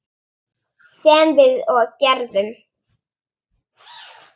Sem við og gerðum.